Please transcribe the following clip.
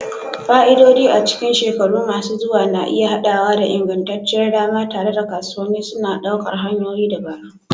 Fa'idodi a cikin shekaru masu zuwa na iya haɗawa da ingantacciyar dama, tare da kasuwanni suna ɗaukar hanyoyin dabaru.